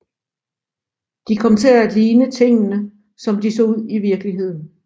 De kom til at ligne tingene som de så ud i virkeligheden